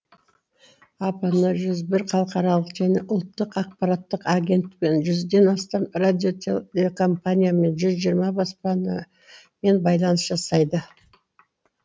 апн жүз бір халықаралық және ұлттық акпараттық агенттікпен жүзден астам радиотелекомпаниямен жүз жиырма баспанамен байланыс жасайды